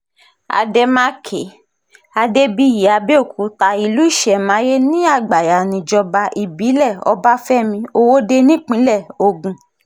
àdèmàkè adébíyí àbẹ̀òkúta ìlú ìṣẹ̀máyé ní àgbáyànìjọba ìbílẹ̀ ọbáfẹ́mi ọwọ́de nípínlẹ̀ ogun